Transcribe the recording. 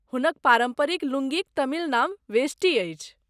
हुनक पारम्परिक लुंगीक तमिल नाम वेष्टी अछि।